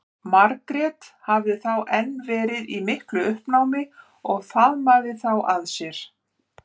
Margrét hafði þá enn verið í miklu uppnámi og faðmað þá að sér.